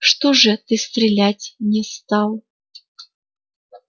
что же ты стрелять не стал